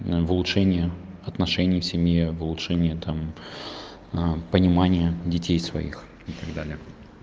в улучшение отношений в семье в улучшение там понимания детей своих и так далее